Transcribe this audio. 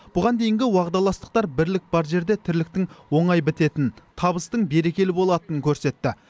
бұған дейінгі уағдаластықтар бірлік бар жерде тірліктің оңай бітетінін табыстың берекелі болатынын көрсетті